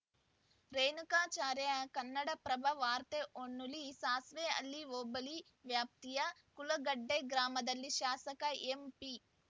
ರೇಣುಕಾಚಾರ್ಯ ಕನ್ನಡಪ್ರಭ ವಾರ್ತೆ ಹೊನ್ನಾಳಿ ಸಾಸ್ವೆಹಳ್ಳಿ ಹೋಬಳಿ ವ್ಯಾಪ್ತಿಯ ಕುಳಗಟ್ಟೆಗ್ರಾಮದಲ್ಲಿ ಶಾಸಕ ಎಂಪಿ